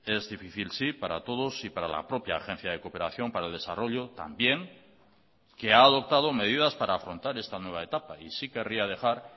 es difícil sí para todos y para la propia agencia de cooperación para el desarrollo también que ha adoptado medidas para afrontar esta nueva etapa y sí querría dejar